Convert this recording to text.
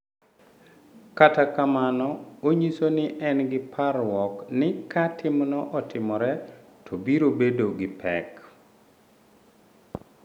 Kata kamano, onyiso ni en gi parruok ni ka timno otimore to biro bedo gi pek.